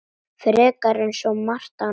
Frekar en svo margt annað.